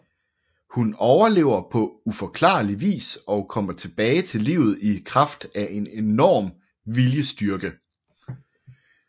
Hun overlever på uforklarlig vis og kommer tilbage til livet i kraft af en enorm viljestyrke